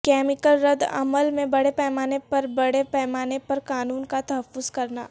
chemical رد عمل میں بڑے پیمانے پر بڑے پیمانے پر قانون کا تحفظ کرنا